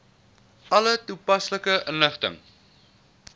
alle toepaslike inligting